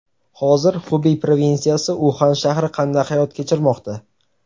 Hozir Xubey provinsiyasi, Uxan shahri qanday hayot kechirmoqda?